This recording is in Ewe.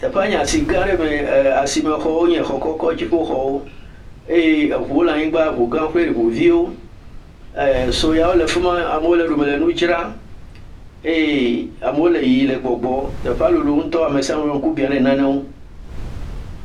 Teƒea nye asi gã aɖe em. Asimexɔwo nye xɔ kɔkɔ, dziƒoxɔwo. Eŋuwo le anyigba. Ŋu gã kple ŋu viwo. Soyawo le afi ma. Amewo le eɖome le nu dzram eye amewo le yiyim le gbɔgbɔ. Teƒe lolo ŋutɔ ame sia ame ƒe ŋku bia ɖe nane ŋu.